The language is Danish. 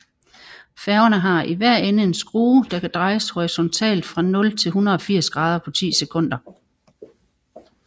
Færgerne har i hver ende en skrue der kan drejes horisontalt fra 0 til 180 grader på ti sekunder